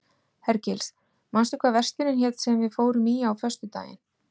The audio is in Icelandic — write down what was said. Hergils, manstu hvað verslunin hét sem við fórum í á föstudaginn?